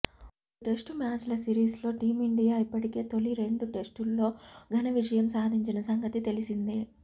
మూడు టెస్టు మ్యాచ్ల సిరిస్లో టీమిండియా ఇప్పటికే తొలి రెండు టెస్టుల్లో ఘన విజయం సాధించిన సంగతి తెలిసిందే